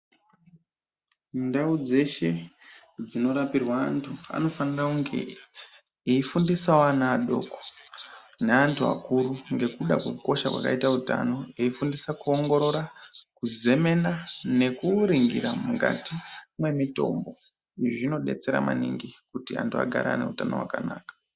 Ndau dzeshe dzinorapirwa vantu anofanirwa kunge eyifundisawo vana vadoko ne antu akuru ngekuda kwekukosha kwakaita utano eyifundisa kuongorora kuzenena nekuringira mukati memitombo zvinodetsera maningi kuti antu agare aneutano hwakanaka.